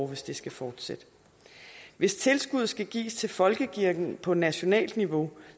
hvis det skal fortsætte hvis tilskuddet skal gives til folkekirken på nationalt niveau